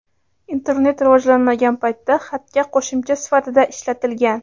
internet rivojlanmagan paytda xatga qo‘shimcha sifatida ishlatilgan.